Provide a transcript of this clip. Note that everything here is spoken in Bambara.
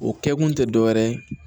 O kɛkun te dɔwɛrɛ ye